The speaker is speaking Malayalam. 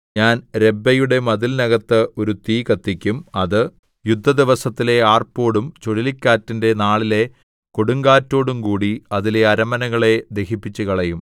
ഞാൻ രബ്ബയുടെ മതിലിനകത്ത് ഒരു തീ കത്തിക്കും അത് യുദ്ധദിവസത്തിലെ ആർപ്പോടും ചുഴലിക്കാറ്റിന്റെ നാളിലെ കൊടുങ്കാറ്റോടുംകൂടി അതിലെ അരമനകളെ ദഹിപ്പിച്ചുകളയും